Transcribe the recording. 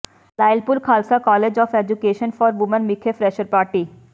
Lyallpur Khalsa college of education for women ਵਿਖੇ fresher party